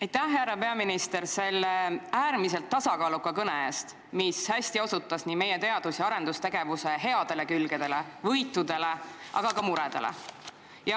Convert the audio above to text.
Aitäh, härra peaminister, selle äärmiselt tasakaaluka kõne eest, mis hästi osutas meie teadus- ja arendustegevuse headele külgedele ja võitudele, aga ka muredele!